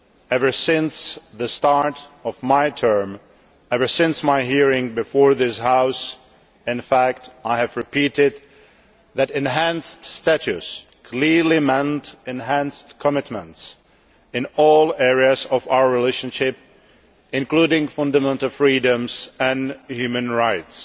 Ever since the start of my term of office since my hearing before this House in fact I have repeated that enhanced status clearly means enhanced commitments in all areas of our relationship, including fundamental freedoms and human rights.